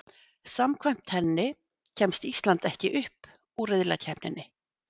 Samkvæmt henni kemst Ísland ekki upp úr riðlakeppninni.